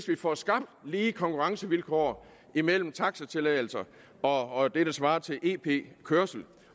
vi får skabt lige konkurrencevilkår imellem taxatilladelser og det der svarer til ep kørsel